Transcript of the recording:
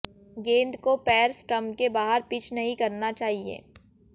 गेंद को पैर स्टंप के बाहर पिच नहीं करना चाहिए